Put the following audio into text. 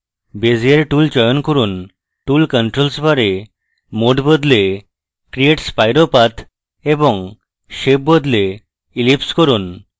bezier tool চয়ন করুন tool controls bar এ mode বদলে create spiro path এবং shape বদলে ellipse করুন